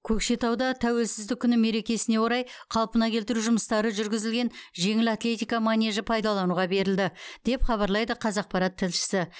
көкшетауда тәуелсіздік күні мерекесіне орай қалпына келтіру жұмыстары жүргізілген жеңіл атлетика манежі пайдалануға берілді деп хабарлайды қазақпарат тілшісі